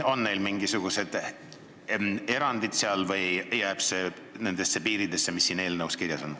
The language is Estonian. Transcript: On neil mingisugused erandid või jääb see nendesse piiridesse, mis on siin eelnõus kirjas?